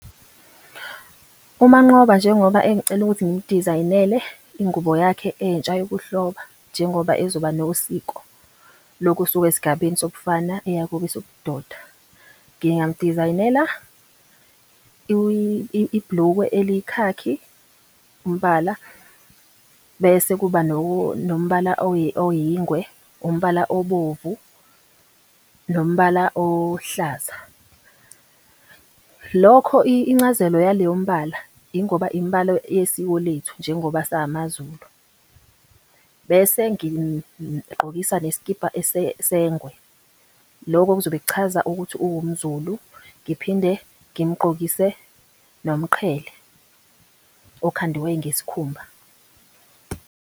UManqoba, njengoba engicela ukuthi ngimudizayinele ingubo yakhe entsha yokuhloba njengoba ezoba nosiko, lokusuka esigabeni sobufana eya kwesobudoda. Ngingamudizayinela ibhulukwe elikhakhi umbala, bese kuba nombala oyingwe, umbala obovu, nombala ohlaza. Lokho incazelo yaleyo mbala ingoba imbala yesiko lethu njengoba samaZulu. Bese ngimgqokisa nesikibha sengwe. Loko kuzobe kuchaza ukuthi uwumZulu, ngiphinde ngimgqokise nomqhele, okhandiwe ngesikhumba.